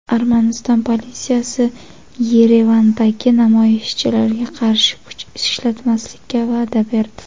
Armaniston politsiyasi Yerevandagi namoyishchilarga qarshi kuch ishlatmaslikka va’da berdi.